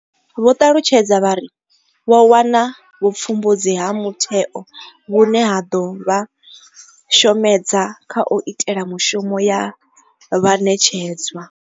Vho ṱalutshedza vha ri. Vho wana vhupfumbudzi ha mutheo vhune ha ḓo vha shomedza kha u ita mishumo ye vha ṋetshedzwa.